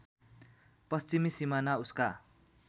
पश्चिमी सिमाना उसका